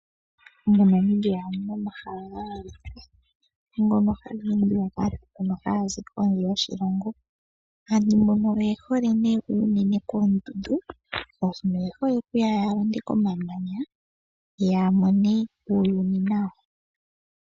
Mo Namibia omuna omahala ga yooloka ngono haga naana aataleli yaza kondje yoshilongo. Aantu mbono oyehole uunene koondundu, shaashi oye hole okuya ya londe komamanya ya mone uuyuni nawa.